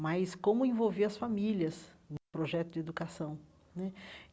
mas como envolver as famílias no projeto de educação né.